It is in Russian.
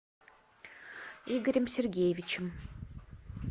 игорем сергеевичем